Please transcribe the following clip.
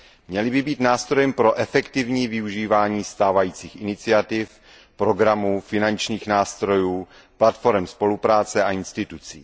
Měly by být nástrojem pro efektivní využívání stávajících iniciativ, programů, finančních nástrojů, platforem spolupráce a institucí.